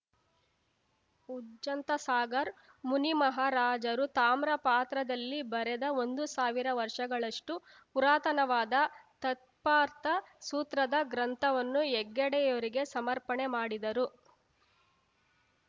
ಉಜ್ಜಂತ ಸಾಗರ್ ಮುನಿಮಹಾರಾಜರು ತಾಮ್ರ ಪಾತ್ರದಲ್ಲಿ ಬರೆದ ಒಂದು ಸಾವಿರ ವರ್ಷಗಳಷ್ಟು ಪುರಾತನವಾದ ತತ್ಪಾರ್ಥ ಸೂತ್ರದ ಗ್ರಂಥವನ್ನು ಹೆಗ್ಗಡೆಯವರಿಗೆ ಸಮರ್ಪಣೆ ಮಾಡಿದರು